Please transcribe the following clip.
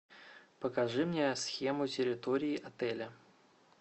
покажи мне схему территории отеля